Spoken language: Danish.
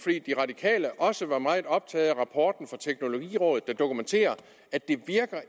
radikale også var meget optaget af rapporten fra teknologirådet der dokumenterer at det